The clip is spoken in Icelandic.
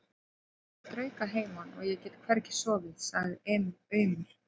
Ég strauk að heiman og ég get hvergi sofið, sagði Emil aumur.